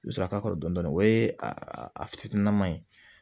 I bɛ sɔrɔ k'a kɔrɔ dɔn o ye a fitinin ye